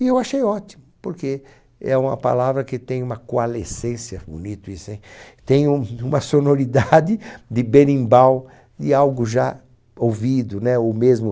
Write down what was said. E eu achei ótimo, porque é uma palavra que tem uma coalescência, bonito isso, hein? Tem um uma sonoridade de berimbau, de algo já ouvido, né? Ou mesmo.